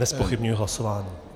Nezpochybňuji hlasování.